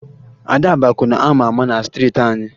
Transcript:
Ada bụ akwụna a ma ama na striiti anyị